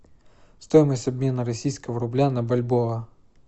стоимость обмена российского рубля на бальбоа